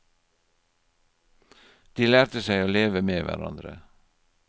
De lærte seg å leve med hverandre.